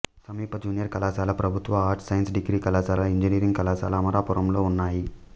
సమీప జూనియర్ కళాశాల ప్రభుత్వ ఆర్ట్స్ సైన్స్ డిగ్రీ కళాశాల ఇంజనీరింగ్ కళాశాల అమలాపురంలో ఉన్నాయి